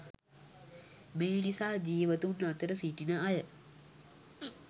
මේ නිසා ජීවතුන් අතර සිටින අය